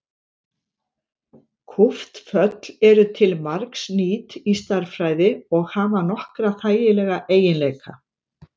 kúpt föll eru til margs nýt í stærðfræði og hafa nokkra þægilega eiginleika